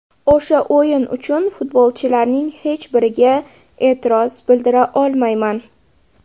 O‘sha o‘yin uchun futbolchilarning hech biriga e’tiroz bildira olmayman.